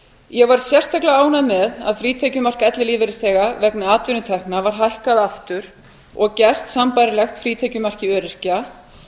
ég var sérstaklega ánægð með að frítekjumark ellilífeyrisþega vegna atvinnutekna var hækkað aftur og gert sambærilegt frítekjumarki öryrkja